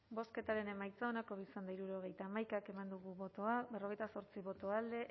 bozketaren emaitza onako izan da hirurogeita hamaika eman dugu bozka berrogeita zortzi boto alde